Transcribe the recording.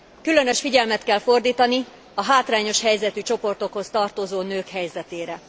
Különös figyelmet kell fordítani a hátrányos helyzetű csoportokhoz tartozó nők helyzetére.